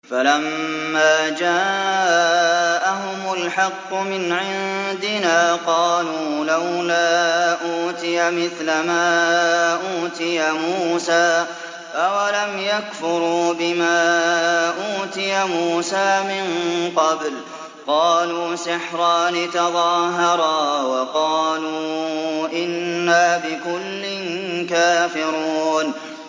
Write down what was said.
فَلَمَّا جَاءَهُمُ الْحَقُّ مِنْ عِندِنَا قَالُوا لَوْلَا أُوتِيَ مِثْلَ مَا أُوتِيَ مُوسَىٰ ۚ أَوَلَمْ يَكْفُرُوا بِمَا أُوتِيَ مُوسَىٰ مِن قَبْلُ ۖ قَالُوا سِحْرَانِ تَظَاهَرَا وَقَالُوا إِنَّا بِكُلٍّ كَافِرُونَ